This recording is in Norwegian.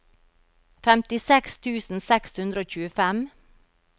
femtiseks tusen seks hundre og tjuefem